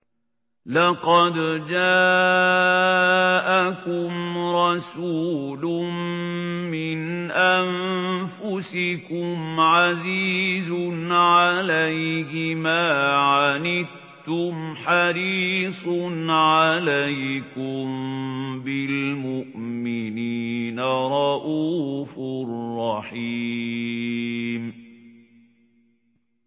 لَقَدْ جَاءَكُمْ رَسُولٌ مِّنْ أَنفُسِكُمْ عَزِيزٌ عَلَيْهِ مَا عَنِتُّمْ حَرِيصٌ عَلَيْكُم بِالْمُؤْمِنِينَ رَءُوفٌ رَّحِيمٌ